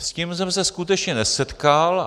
S tím jsem se skutečně nesetkal.